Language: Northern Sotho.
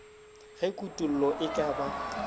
ge kutollo e ka ba